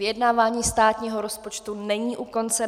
Vyjednávání státního rozpočtu není u konce.